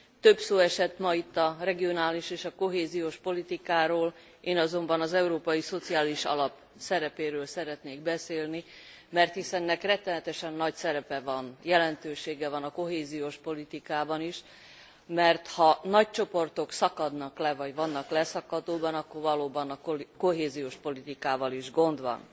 Több szó esett ma itt a regionális és a kohéziós politikáról, én azonban az Európai Szociális Alap szerepéről szeretnék beszélni, mert hiszen ennek rettenetesen nagy szerepe van, jelentősége van a kohéziós politikában is, mert ha nagy csoportok szakadnak le vagy vannak leszakadóban, akkor valóban a kohéziós politikával is gond van.